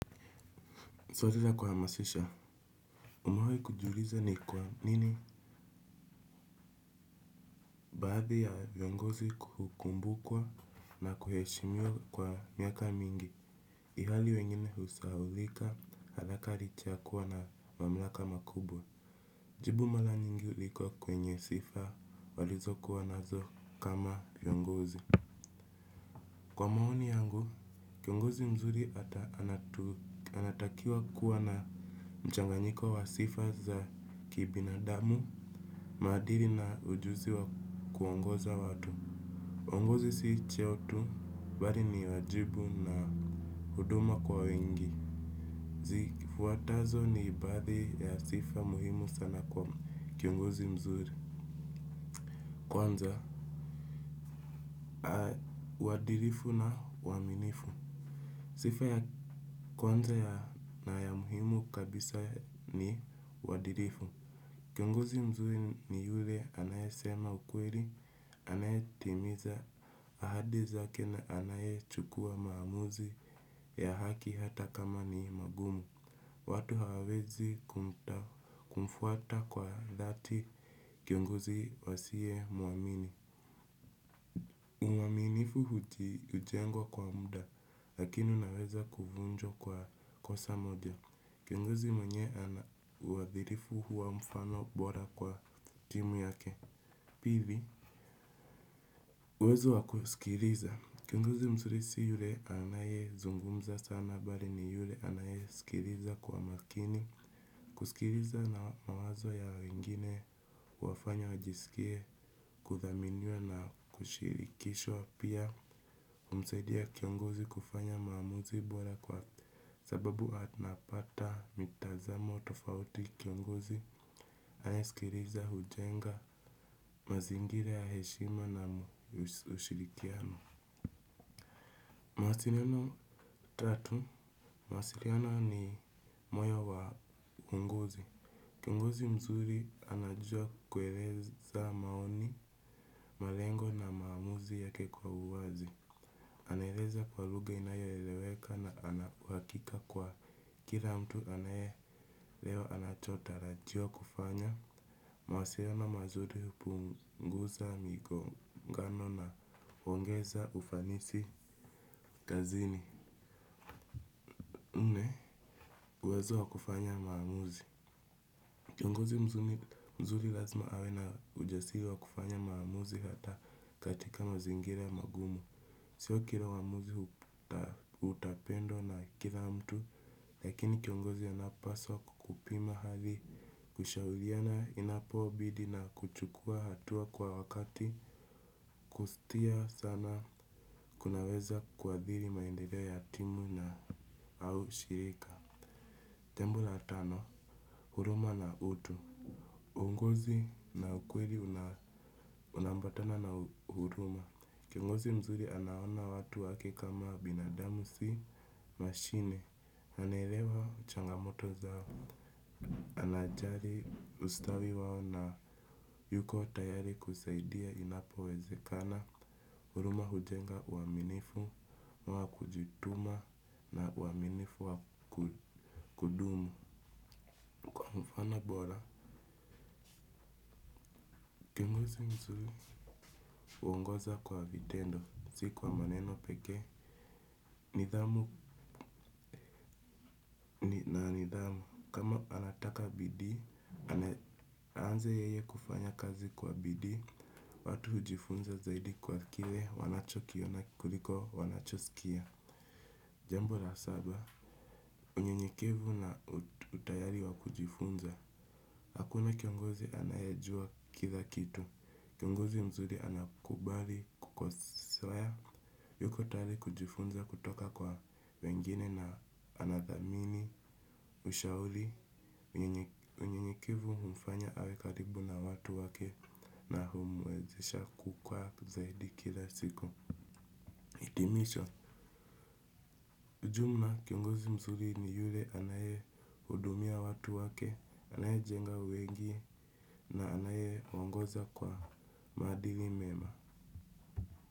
Swali la kuhamasisha umewahi kujiuliza ni kwa nini baadhi ya viongozi hukumbukwa na kuheshimiwa kwa miaka mingi ihali wengine husahaulika haraka licha ya kuwa na mamlaka makubwa. Jibu mara nyingi liko kwenye sifa walizokuwa nazo kama viongozi. Kwa maoni yangu, kiongozi mzuri ata anatakiwa kuwa na mchanganyiko wa sifa za kibinadamu. Maadili na ujuzi wa kuongoza watu uongozi si cheo tu, bali ni wajibu na huduma kwa wengi. Zifuatazo ni baadhi ya sifa muhimu sana kwa kiongozi mzuri. Kwanza, uadilifu na uaminifu sifa ya kwanza na ya muhimu kabisa ni uadilifu. Kiongozi mzuri ni yule anayesema ukweli. Anayetimiza ahadi zake na anayechukua maamuzi ya haki hata kama ni magumu. Watu hawawezi kumfuata kwa dhati kiongozi asiye muamini muaminifu hujengwa kwa muda lakini unaweza kuvunjwa kwa kosa moja. Kiongozi mwenye ana uadhilifu huwa mfano bora kwa timu yake. Pili, uwezo wa kusikiliza. Kiongozi mzuri si yule anayezungumza sana bali ni yule anayeskiliza kwa makini. Kusikiliza na mawazo ya wengine huwafanya wajisikie kuthaminiwa na kushirikishwa. Pia humsaidia kiongozi kufanya maamuzi bora kwa sababu anapata mitazamo tofauti kiongozi anayesikiliza hujenga mazingira ya heshima na ushirikiano. Mawasiliano tatu, mawasiliano ni moyo wa uongozi. Kiongozi mzuri anajua kueleza maoni, malengo na maamuzi yake kwa uwazi. Anaeleza kwa lugha inayoeleweka na ana uhakika kwa kila mtu anayeelewa anachotarajiwa kufanya. Mawasiliano mazuri hupunguza migongano na huongeza ufanisi kazini nne uwezo wa kufanya maamuzi. Kiongozi mzuri lazima awe na ujasiri wa kufanya maamuzi hata katika mazingira magumu. Sio kila uamuzi utapendwa na kila mtu, lakini kiongozi anapaswa kukupima hali kushauriana inapobidi na kuchukua hatua kwa wakati kustia sana kunaweza kuadhiri maendeleo ya timu na au shirika. Tembo la tano, huruma na utu. Uongozi na ukweli unaambatana na huruma. Kiongozi mzuri anaona watu wake kama binadamu si mashine anaelewa changamoto zao. Anajali ustawi wao na yuko tayari kusaidia inapowezekana. Huruma hujenga uaminifu wa kujituma na uaminifu wa kudumu kwa mfano bora. Kiongozi mzuri huongoza kwa vitendo, si kwa maneno pekee. Nidhamu, nidhamu, kama anataka bidii, aanze yeye kufanya kazi kwa bidii. Watu hujifunza zaidi kwa kile, wanachokiona kuliko, wanachoskia. Jambo la saba, unyenyekevu na utayari wa kujifunza. Hakuna kiongozi anayejua kila kitu. Kiongozi mzuri anakubali kukosea. Yuko tayari kujifunza kutoka kwa wengine na anathamini, ushauri, yenye unyenyekevu humfanya awe karibu na watu wake na humwezesha kukwaa zaidi kila siku. Hitimisho, ujumla kiongozi mzuri ni yule anayehudumia watu wake, anayejenga wengi na anayeongoza kwa maadili mema.